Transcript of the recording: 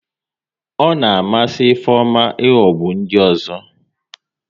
Ọ na amasị Ifeoma ihogbu ndị ọzọ